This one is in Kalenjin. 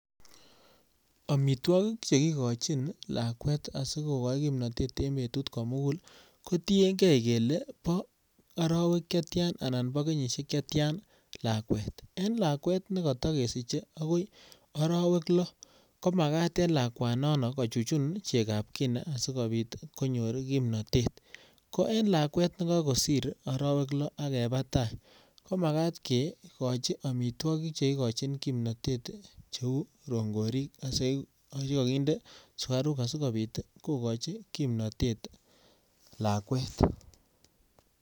Amitwogik che kikachin lakwet asikigoi kinanatet eng betut komugul kotienge kele bo arawek chetian anan bo kenyisiek chetian lakwet. En lakwet nekata kesiche agoi arawek lo. Komagat en lakwa nono kochuchun chegab kina sigipoit konyor kimnatet. Ko en lakwet nekakosir arawek lo ak keba tai, ko magat kegochi amitwogik che igochin kimnatet cheu rongorik chekakinde sukaruk asigopit kogachi kimnatet lakwet.